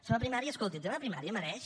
sobre primària escolti el tema de primària mereix